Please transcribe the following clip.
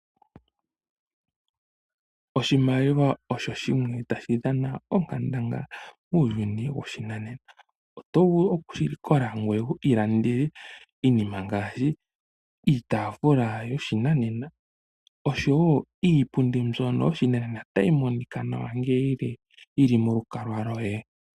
Oshimaliwa osho shimwe tashi dhana onkandangala muuyuni woshinanena. Oto vulu okushi likola ngoye wu iilandele iinima ngaashi iitafula yoshinanena oshowo iipundi mbyono yoshinanena tayi monika nawa ngele yi li molukalwa lwoye.